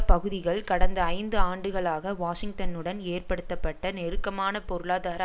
பகுதிகள் கடந்த ஐந்து ஆண்டுகளாக வாஷிங்டனுடன் ஏற்படுத்தப்பட்ட நெருக்கமான பொருளாதார